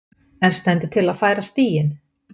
En stendur til að færa stíginn?